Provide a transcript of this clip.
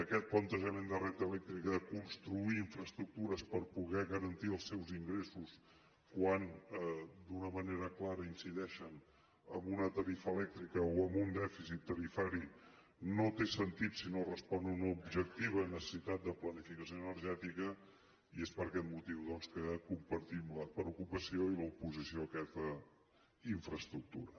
aquest plantejament de red eléctrica de construir infraestructures per poder garantir els seus ingressos quan d’una manera clara incideixen en una tarifa elèctrica o en un dèficit tarifari no té sentit si no respon a una objectiva necessitat de planificació energètica i és per aquest motiu doncs que compartim la preocupació i l’oposició a aquesta infraestructura